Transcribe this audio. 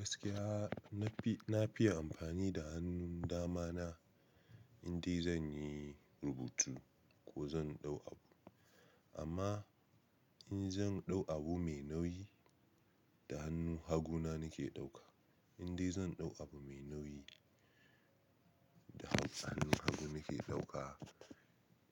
Gaskiya nafi, nafiye amfani da hannun dama na. Indai zan yi rubutu ko zan dau abu. Amma in zan dau abu mai nauyi da hannun hagu na nake ɗauka. Indai zan dau abu mai nauyi da han, hannun hagu nake ɗauka.